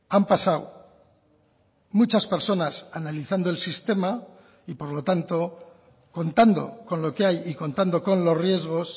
han pasado muchas personas analizando el sistema y por lo tanto contando con lo que hay y contando con los riesgos